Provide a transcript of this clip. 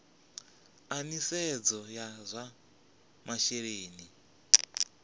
a nisedzo ya zwa masheleni